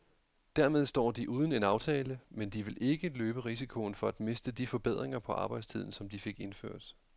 Dermed står de uden en aftale, men de vil ikke løbe risikoen for at miste de forbedringer på arbejdstiden, som de fik indført.